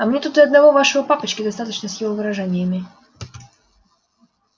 а мне тут и одного вашего папочки достаточно с его выражениями